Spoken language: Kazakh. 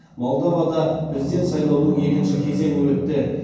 молдовада президент сайлауының екінші кезеңі өтті